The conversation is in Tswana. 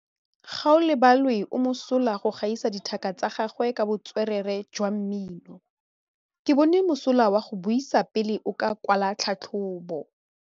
Gaolebalwe o mosola go gaisa dithaka tsa gagwe ka botswerere jwa mmino. Ke bone mosola wa go buisa pele o kwala tlhatlhobô.